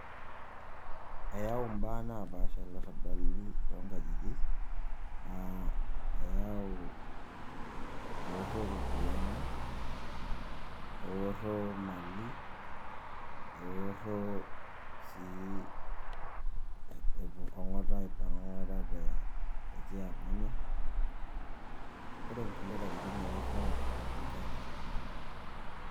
Eyau imbaa napaasha ilarrabali toonkajijik, eyau eworro ooropiyiani, eworro mali, ewuoro sii apang apuo ong'ata tekiama enye, newuoro sii inkera.